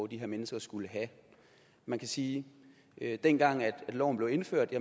de her mennesker skulle have man kan sige at dengang loven blev indført